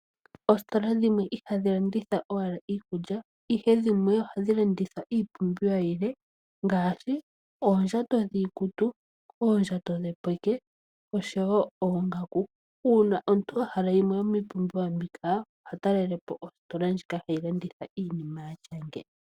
Oositola dhimwe ihadhi landitha owala iikulya, ihe dhimwe ohadhi landitha iipumbiwa yilwe ngaashi oondjato dhiikutu , oondjato dhopeke oshowo oongaku. Uuna omuntu a hala yimwe yomiipumbiwa mbika oha talele po ositola ndjika hayi landitha iinima yatya nge.